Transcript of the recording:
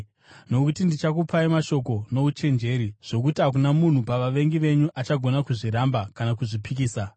Nokuti ndichakupai mashoko nouchenjeri zvokuti hakuna munhu pavavengi venyu achagona kuzviramba kana kuzvipikisa.